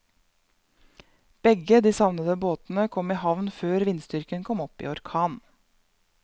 Begge de savnede båtene kom i havn før vindstyrken kom opp i orkan.